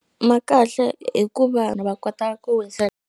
Ma kahle hi ku vanhu va kota ku .